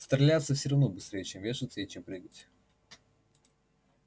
стреляться всё равно быстрей чем вешаться и чем прыгать